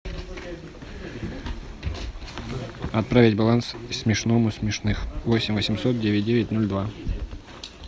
отправить баланс смешному смешных восемь восемьсот девять девять ноль два